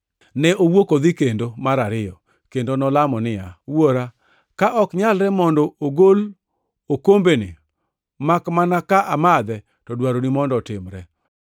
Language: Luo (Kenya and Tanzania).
Ne owuok odhi kendo, mar ariyo, kendo nolamo niya, “Wuora, ka ok nyalre mondo ogol okombeni makmana ka amadhe to dwaroni mondo otimre.”